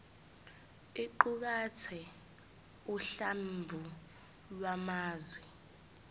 iqukathe uhlamvu lwamazwi